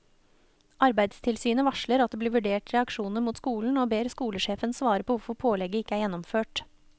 Arbeidstilsynet varsler at det blir vurdert reaksjoner mot skolen og ber skolesjefen svare på hvorfor pålegget ikke er gjennomført.